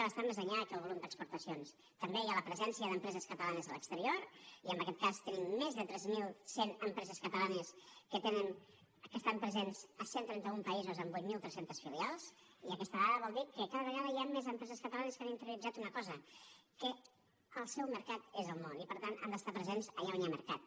bastant més enllà que el volum d’exportacions també hi ha la presència d’empreses catalanes a l’exterior i en aquest cas tenim més de tres mil cent empreses catalanes que estan presents a cent i trenta un països amb vuit mil tres cents filials i aquesta dada vol dir que cada vegada hi han més empreses catalanes que han interioritzat una cosa que el seu mercat és el món i per tant han d’estar presents allà on hi ha mercat